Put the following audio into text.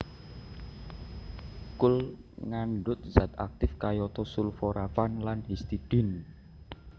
Kul ngandhut zat aktif kayata sulforafan lan histidine